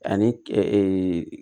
Ani